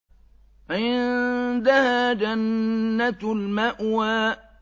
عِندَهَا جَنَّةُ الْمَأْوَىٰ